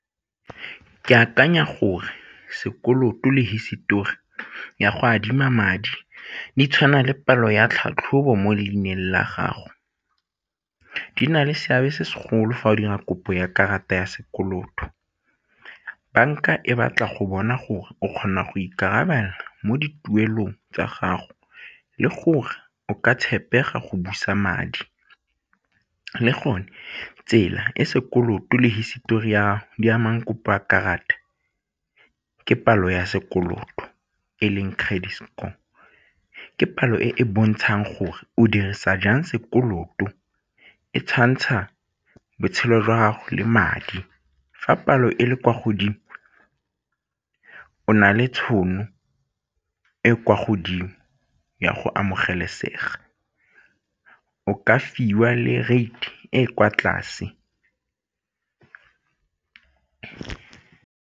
Ke akanya gore sekoloto le hisetori ya go adima madi di tshwana le palo ya tlhatlhobo mo leineng la gago, di na le seabe se segolo fa o dira kopo ya karata ya sekoloto, banka e batla go bona gore o kgona go ikarabela mo dipuelong tsa gago le gore o ka tshepega go busa madi le gone tsela e sekoloto le hisitori di amang kopo a dikarata ke palo ya sekoloto e leng credit score. Ke palo e e bontshang gore o dirisa jang sekoloto e tshwantsha botshelo jwa gago le madi, fa palo e le kwa godimo o na le tšhono e e kwa godimo ya go amogelesega, o ka fiwa le rate e e kwa tlase.